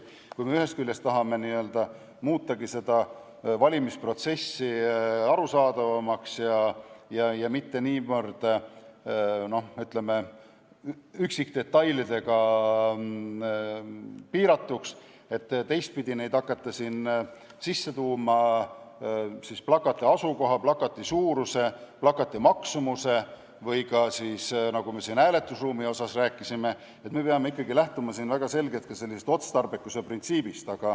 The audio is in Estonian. Ent kui me ühest küljest tahame muuta valimisprotsessi arusaadavamaks ja mitte niivõrd, ütleme, üksikdetailidega piiratuks, hakates sisse tooma plakati asukoha, plakati suuruse, plakati maksumusega seonduvat või seda, mida me siin hääletusruumi puhul rääkisime, peame väga selgelt lähtuma ka otstarbekuse printsiibist.